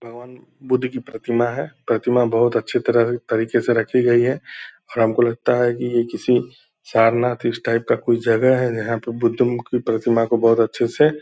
भगवान बुद्ध कि प्रतिमा है प्रतिमा बहुत अच्छी तरह तरीके से रखी गई है और हम को लगता है कि यह किसी शारनाथ इस टाइप का कोई जगह है जहाँ पे बुद्ध कि प्रतिमा को बहुत अच्छे से --